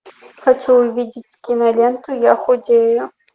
хочу увидеть киноленту я худею